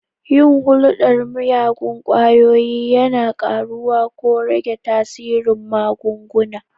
Yin hulɗar miyagun ƙwayoyi yana ƙaruwa ko rage tasirin magunguna.